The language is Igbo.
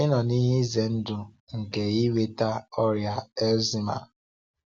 Ị nọ n’ihe ize ndụ nke inweta ọrịa Alzheimer?